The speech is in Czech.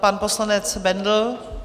Pan poslanec Bendl.